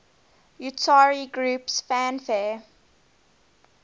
utari groups fanfare